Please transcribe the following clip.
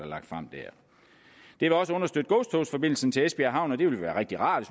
lagt frem der det vil også understøtte godstogsforbindelsen til esbjerg havn og det ville være rigtig rart